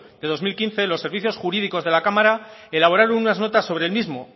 de dos mil quince los servicios jurídicos de la cámara elaboraron unas notas sobre el mismo